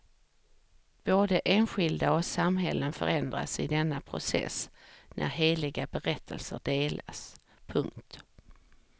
Både enskilda och samhällen förändras i denna process när heliga berättelser delas. punkt